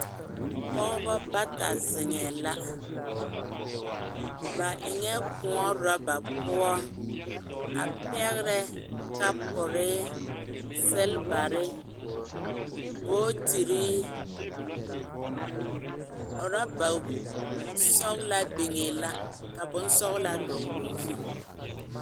pɔgeba bata zeŋɛ la, ba eŋɛ koɔ ɔraba poɔ a pɛgerɛ kapure, silibere, bookyiri, ɔraba sɔglaa biŋɛ la ka bonsɔglaa dɔgeli o zu.